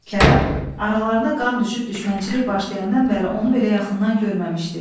Kərəm aralarına qan düşüb düşmənçilik başlayandan bəri onu belə yaxından görməmişdi.